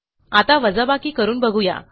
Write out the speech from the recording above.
आता वजाबाकी करून बघू या